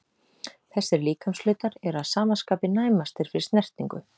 Þessir líkamshlutar eru að sama skapi næmastir fyrir snertingu.